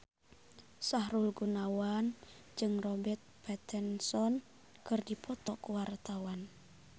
Sahrul Gunawan jeung Robert Pattinson keur dipoto ku wartawan